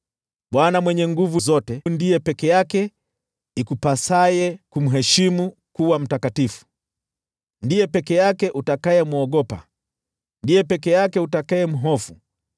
Bwana Mwenye Nguvu Zote ndiye peke yake ikupasaye kumheshimu kuwa mtakatifu, ndiye peke yake utakayemwogopa, ndiye peke yake utakayemhofu,